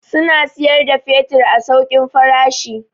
Suna siyar da fetur a saukin farashi.